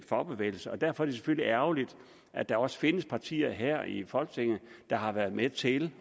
fagbevægelse og derfor er det selvfølgelig ærgerligt at der også findes partier her i folketinget der har været med til